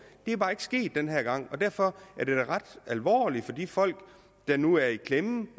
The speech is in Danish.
det er bare ikke sket den her gang og derfor er det da ret alvorligt for de folk der nu er i klemme